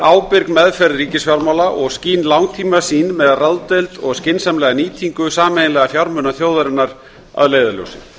ábyrg meðferð ríkisfjármála og skýr langtímasýn með ráðdeild og skynsamlega nýtingu sameiginlegra fjármuna þjóðarinnar að leiðarljósi